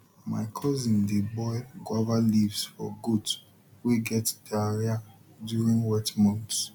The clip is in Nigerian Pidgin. my cousin dey boil guava leaves for goat wey get diarrhea during wet months